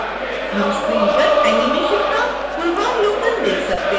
हम स्क्रीन पर एनीमेशन का पूर्वावलोकन देख सकते हैं